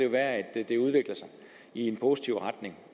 være at det udvikler sig i en positiv retning